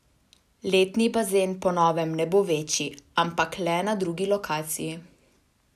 Letni bazen po novem ne bo večji, ampak le na drugi lokaciji.